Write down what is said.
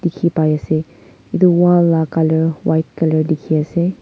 dekhi pai ase etu wall la colour white colour dekhi ase.